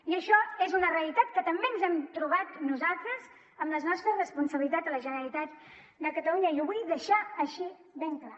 i això és una realitat que també ens hem trobat nosaltres amb les nostres responsabilitats a la generalitat de catalunya i ho vull deixar així ben clar